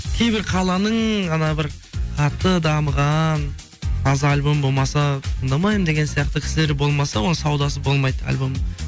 кейбір қаланың ана бір қатты дамыған таза альбомы болмаса тыңдамаймын деген сияқты кісілер болмаса оның саудасы болмайды альбомның